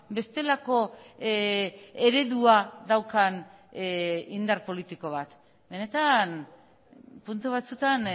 bestelako eredua daukan indar politiko bat benetan puntu batzutan